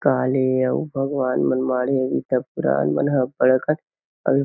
काले इ सब भगवान मन माढ़े इ सब पुरान मन अब्बड़ अकन अउ --